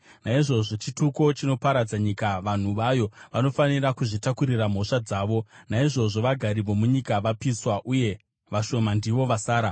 Naizvozvo chituko chinoparadza nyika, vanhu vayo vanofanira kuzvitakurira mhosva dzavo. Naizvozvo vagari vomunyika vapiswa, uye vashoma ndivo vasara.